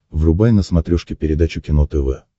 врубай на смотрешке передачу кино тв